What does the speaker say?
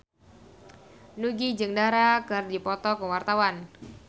Nugie jeung Dara keur dipoto ku wartawan